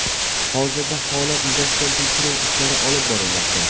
Hozirda holat yuzasidan tekshiruv ishlari olib borilmoqda.